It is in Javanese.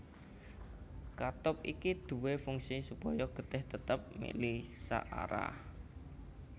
Katup iki duwé fungsi supaya getih tetep mili saarah